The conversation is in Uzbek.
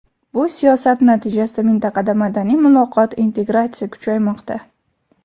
Bu siyosat natijasida mintaqada madaniy muloqot, integratsiya kuchaymoqda.